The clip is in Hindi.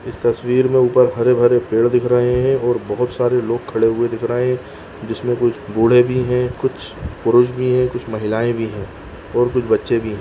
इस तस्वीर में ऊपर हरे-भरे पेड़ दिख रहे हैं और बहुत सारे लोग खड़े हुए दिख रहे हैं जिसमे कुछ बूढ़े भी हैं कुछ पुरुष भी हैं कुछ महिलाएं भी है और कुछ बच्चे भी हैं।